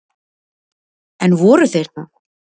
En voru þeir það?